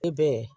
E bɛ